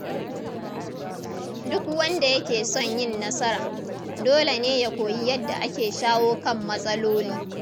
Duk wanda yake son yin nasara, dole ne ya koyi yadda ake shawo kan matsaloli.